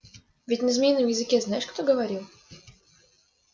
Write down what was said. ведь на змеином языке знаешь кто говорил